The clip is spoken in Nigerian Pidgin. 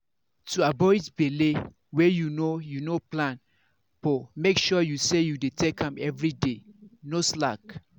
to avoid belle wey you no you no plan for make sure say you dey take am everyday. no slack!